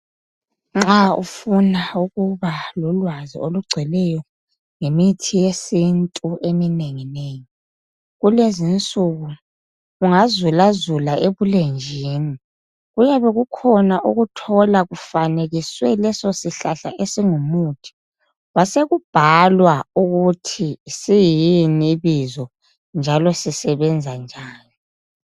Nxa ufuna ukuba lolwazi olugcweleyo ngemithi yesintu ungazulazula ebulenjini kuyabe kukhona leso sihlahla ukuthi yisini njalo sisetshenziswa njani.